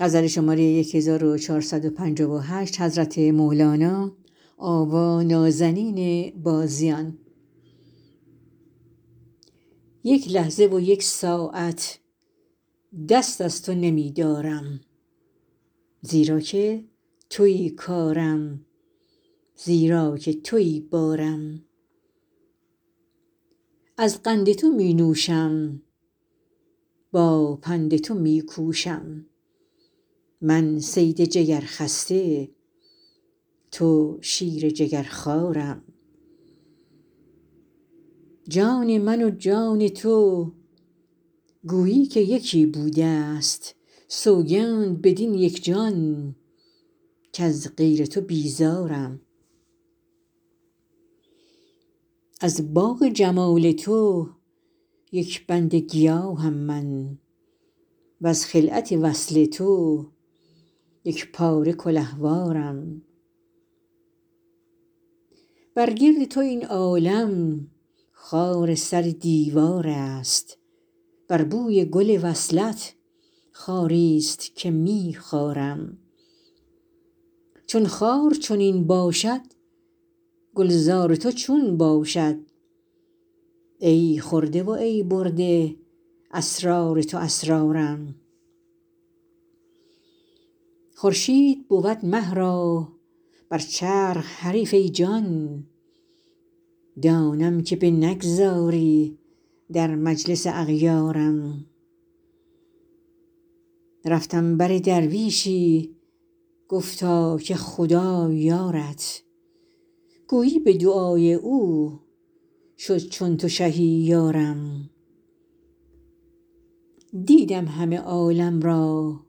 یک لحظه و یک ساعت دست از تو نمی دارم زیرا که توی کارم زیرا که توی بارم از قند تو می نوشم با پند تو می کوشم من صید جگرخسته تو شیر جگرخوارم جان من و جان تو گویی که یکی بوده ست سوگند بدین یک جان کز غیر تو بیزارم از باغ جمال تو یک بند گیاهم من وز خلعت وصل تو یک پاره کلهوارم بر گرد تو این عالم خار سر دیوار است بر بوی گل وصلت خاری است که می خارم چون خار چنین باشد گلزار تو چون باشد ای خورده و ای برده اسرار تو اسرارم خورشید بود مه را بر چرخ حریف ای جان دانم که بنگذاری در مجلس اغیارم رفتم بر درویشی گفتا که خدا یارت گویی به دعای او شد چون تو شهی یارم دیدم همه عالم را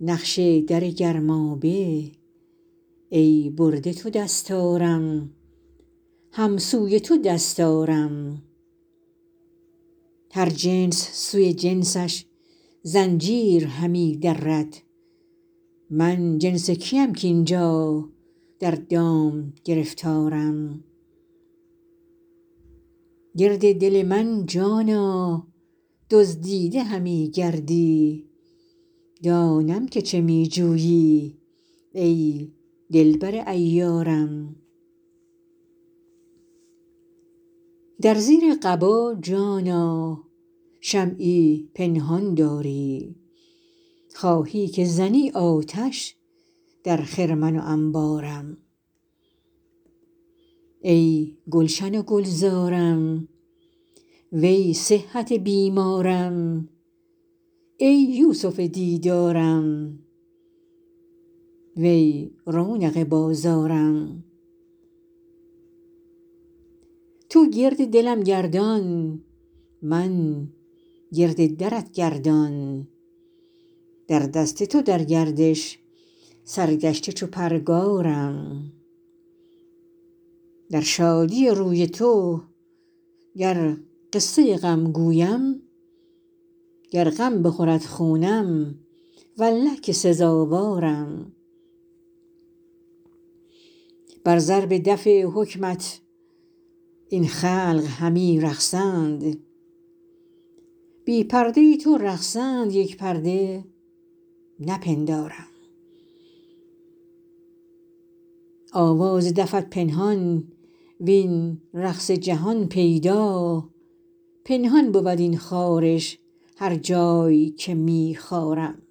نقش در گرمابه ای برده تو دستارم هم سوی تو دست آرم هر جنس سوی جنسش زنجیر همی درد من جنس کیم کاین جا در دام گرفتارم گرد دل من جانا دزدیده همی گردی دانم که چه می جویی ای دلبر عیارم در زیر قبا جانا شمعی پنهان داری خواهی که زنی آتش در خرمن و انبارم ای گلشن و گلزارم وی صحت بیمارم ای یوسف دیدارم وی رونق بازارم تو گرد دلم گردان من گرد درت گردان در دست تو در گردش سرگشته چو پرگارم در شادی روی تو گر قصه غم گویم گر غم بخورد خونم والله که سزاوارم بر ضرب دف حکمت این خلق همی رقصند بی پرده تو رقصد یک پرده نپندارم آواز دفت پنهان وین رقص جهان پیدا پنهان بود این خارش هر جای که می خارم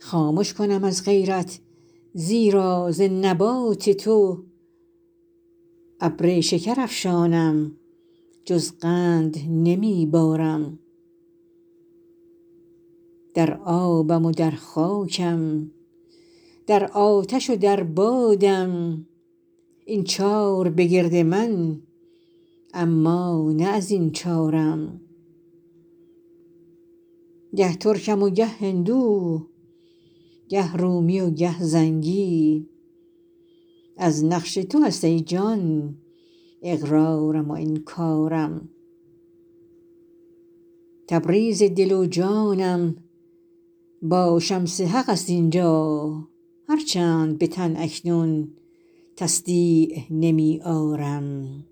خامش کنم از غیرت زیرا ز نبات تو ابر شکرافشانم جز قند نمی بارم در آبم و در خاکم در آتش و در بادم این چار بگرد من اما نه از این چارم گه ترکم و گه هندو گه رومی و گه زنگی از نقش تو است ای جان اقرارم و انکارم تبریز دل و جانم با شمس حق است این جا هر چند به تن اکنون تصدیع نمی آرم